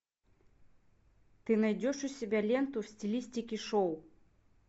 ты найдешь у себя ленту в стилистике шоу